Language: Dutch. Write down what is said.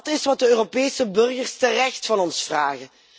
Dat is wat de Europese burgers terecht van ons vragen.